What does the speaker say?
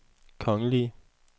kongelige